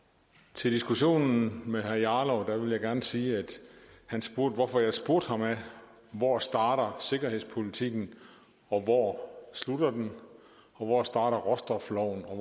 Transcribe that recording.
til diskussionen med herre rasmus jarlov vil jeg gerne sige at han spurgte hvorfor jeg spurgte ham hvor starter sikkerhedspolitikken og hvor slutter den og hvor starter råstofloven og